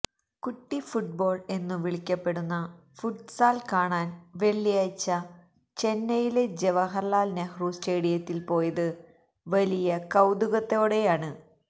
കുട്ടിഫുട്ബോള് എന്നു വിളിക്കപ്പെടുന്ന ഫുട്സാല് കാണാന് വെള്ളിയാഴ്ച ചെന്നൈയിലെ ജവഹര്ലാല് നെഹ്റു സ്റ്റേഡിയത്തില് പോയത് വലിയ കൌതുകത്തോടെയാണ്